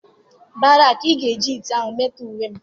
Barak, ị ga-eji ite ahụ metọọ uwe m.